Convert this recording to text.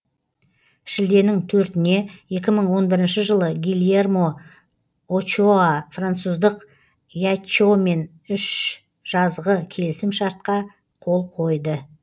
шілденің төртіне екі мың он бірінші жылы гильермо очоа француздық яччомен үш жазғы келісім шартқа қол қойды